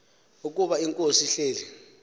ukuba inkosi ihleli